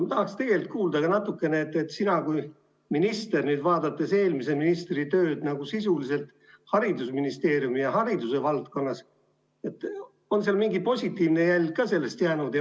Ma tahaksin tegelikult, et sina kui minister nüüd vaadates eelmise ministri tööd sisuliselt haridusministeeriumi ja hariduse valdkonnas, ütled, kas sellest on ka mingi positiivne jälg jäänud.